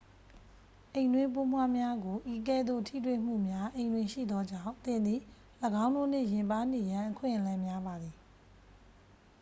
အိမ်တွင်းပိုးမွှားများကို ဤကဲ့သို့ ထိတွေ့မှုများ အိမ်တွင်ရှိသောကြောင့် သင်သည် ၎င်းတို့နှင့် ယဉ်ပါးနေရန် အခွင့်အလမ်းများပါသည်